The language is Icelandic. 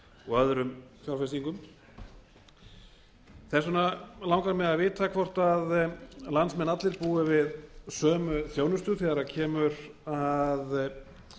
og öðrum fjárfestingum þess vegna langar mig að vita hvort landsmenn allir búi á sömu þjónustu þegar kemur að